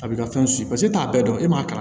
A bɛ ka fɛn paseke e t'a bɛɛ dɔn e m'a kalan